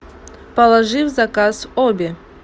положи в заказ обе